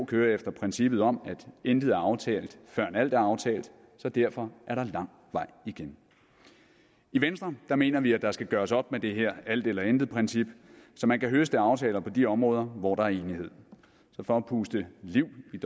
kører efter princippet om at intet er aftalt før alt er aftalt så derfor er der lang vej igen i venstre mener vi at der skal gøres op med det her alt eller intet princip så man kan høste aftaler på de områder hvor der er enighed så for at puste liv i